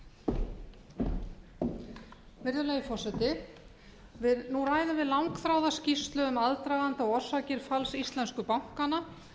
virðulegi forseti nú ræðum við langþráða skýrslu um aðdraganda og orsakir falls íslensku bankanna